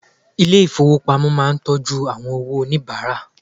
Ilé ìfowópamọ́ máà ń tọ́jú owó àwọn oníbàárà.